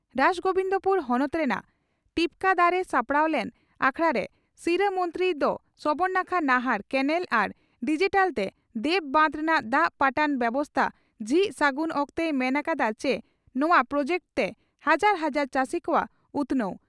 ᱨᱟᱥᱜᱚᱵᱤᱱᱫᱽᱯᱩᱨ ᱦᱚᱱᱚᱛ ᱨᱮᱱᱟᱜ ᱴᱤᱠᱯᱚᱫᱟᱨᱮ ᱥᱟᱯᱲᱟᱣ ᱞᱮᱱ ᱟᱠᱷᱲᱟᱨᱮ ᱥᱤᱨᱟᱹ ᱢᱚᱱᱛᱨᱤ ᱫᱚ ᱥᱚᱵᱚᱨᱱᱟᱠᱷᱟ ᱱᱟᱦᱟᱨ (ᱠᱮᱱᱟᱞ) ᱟᱨ ᱰᱤᱡᱤᱴᱟᱞᱛᱮ ᱫᱮᱣ ᱵᱟᱸᱫᱽ ᱨᱮᱱᱟᱜ ᱫᱟᱜ ᱯᱟᱴᱟᱱ ᱵᱮᱵᱚᱥᱛᱟ ᱡᱷᱤᱡ ᱥᱟᱹᱜᱩᱱ ᱚᱠᱛᱮᱭ ᱢᱮᱱ ᱟᱠᱟᱫᱼᱟ ᱪᱤ ᱱᱚᱣᱟ ᱯᱨᱚᱡᱮᱠᱴ ᱛᱮ ᱦᱟᱡᱟᱨ ᱦᱟᱡᱟᱨ ᱪᱟᱹᱥᱤ ᱠᱚᱣᱟᱜ ᱩᱛᱷᱱᱟᱹᱣ ᱾